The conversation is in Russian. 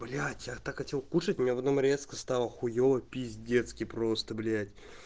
блять я так хотел кушать меня потом резко стало хуева пиздецки просто блять